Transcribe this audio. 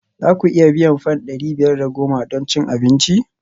Za ku iya biyan fam ɗari biyar da goma don cin abinci?